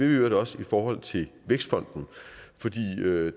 øvrigt også i forhold til vækstfonden fordi